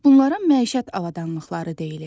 Bunlara məişət avadanlıqları deyilir.